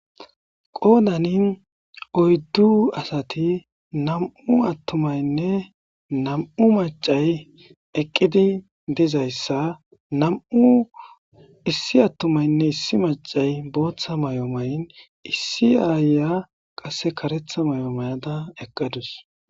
Qoodani oyddu asati nam'u attumaynne nam'u maccay eqidi dizayssa nam'u essi attumaynne issi maccay bootha mayo mayin issi ayiya qasse karetha mayo mayada eqqadus.